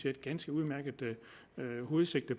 et ganske udmærket hovedsigte